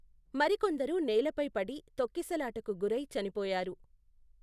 మరికొందరు నేలపై పడి, తొక్కిసలాటకు గురై చనిపోయారు.